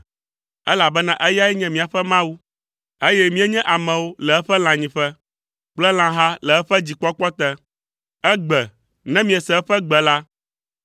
Elabena eyae nye míaƒe Mawu, eye míenye amewo le eƒe lãnyiƒe, kple lãha le eƒe dzikpɔkpɔ te. Egbe, ne miese eƒe gbe la,